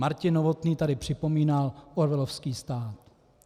Martin Novotný tady připomínal orwellovský stát.